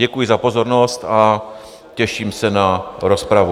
Děkuji za pozornost a těším se na rozpravu.